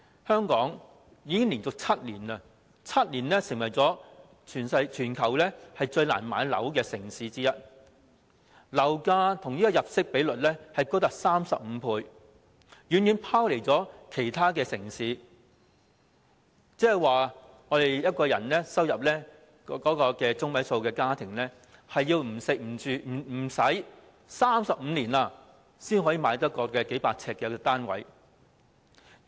香港已經連續7年成為全球最難買樓的城市之一，樓價與入息比率高達35倍，遠遠拋離其他城市，即是說，一個收入為本地入息中位數的家庭，要不吃不花費35年，才買得起一個面積數百呎的單位。